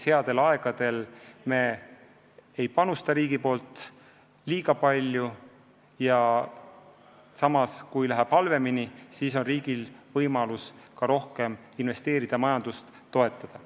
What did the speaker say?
Headel aegadel riik ei panusta liiga palju ja kui läheb halvemini, siis on riigil võimalus rohkem investeerida, majandust toetada.